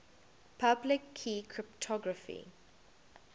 public key cryptography